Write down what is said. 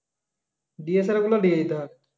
DSLR গুলো নিয়ে যেতে হবে